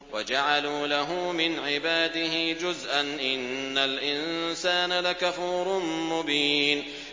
وَجَعَلُوا لَهُ مِنْ عِبَادِهِ جُزْءًا ۚ إِنَّ الْإِنسَانَ لَكَفُورٌ مُّبِينٌ